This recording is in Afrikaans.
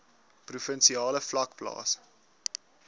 provinsiale vlak plaas